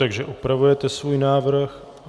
Takže opravujete svůj návrh.